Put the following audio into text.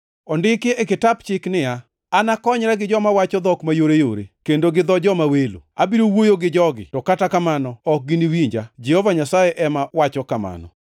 Ondiki e kitap chik niya, “Anakonyra gi joma wacho dhok mayoreyore kendo gi dho joma welo, abiro wuoyo gi jogi to kata kamano ok giniwinja, Jehova Nyasaye ema wacho kamano.” + 14:21 \+xt Isa 28:11,12\+xt*